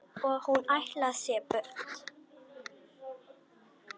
Og hún ætlar sér burt.